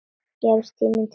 Gefst tími til þess?